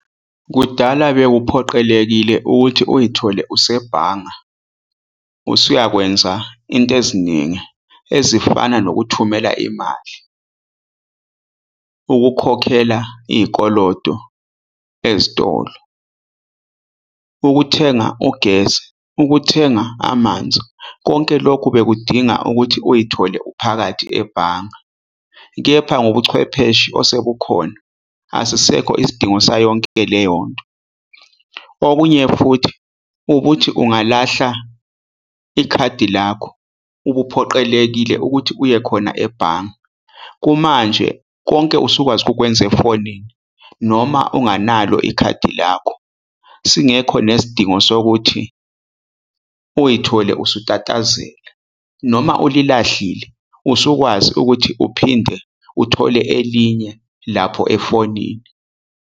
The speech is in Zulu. Kudala bekuphoqelekile ukuthi uyithole usebhanga, usuyakwenza into eziningi ezifana nokuthumela imali. Ukukhokhela iy'koloto ezitolo, ukuthenga ugesi, ukuthenga amanzi. Konke lokhu bekudinga ukuthi uyithole uphakathi ebhanga. Kepha ngobuchwepheshe osekukhona, asisekho isidingo sayonke leyonto. Okunye futhi ukuthi ungalahla ikhadi lakho, ubuphoqelekile ukuthi uye khona ebhanga. Kumanje, konke usukwazi ukukwenzela efonini noma unganalo ikhadi lakho, singekho nesidingo sokuthi uyithole usutatazela. Noma ulilahlile, usukwazi ukuthi uphinde uthole elinye lapho efonini.